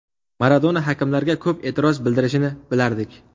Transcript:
Maradona hakamlarga ko‘p e’tiroz bildirishini bilardik.